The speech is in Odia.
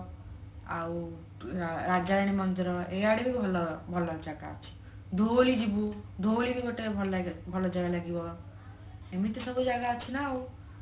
ଆଉ ରାଜରାଣୀ ମନ୍ଦିର ଏଇଆଡେ ବି ଭଲ ଭଲ ଜାଗା ଅଛି ଧଉଳି ଯିବୁ ଧଉଳି ବି ଗୋଟେ ଭଲ ଲାଗେ ଭଲ ଜାଗା ଲାଗିବ ଏମିତି ସବୁ ଜାଗା ଅଛି ନା ଆଉ